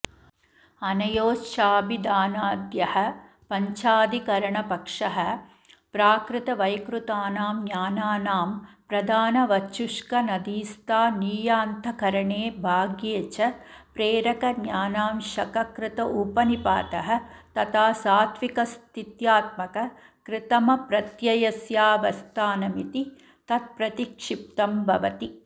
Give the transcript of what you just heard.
अनयोश्चाभिधानाद्यः पञ्चाधिकरणपक्षः प्राकृतवैकृतानां ज्ञानानां प्रधानवच्छुष्कनदीस्थानीयान्तःकरणे बाह्ये च प्रेरकज्ञानांशककृत उपनिपातः तथा सात्त्विकस्थित्यात्मककृतमप्रत्ययस्यावस्थानमिति तत्प्रतिक्षिप्तं भवति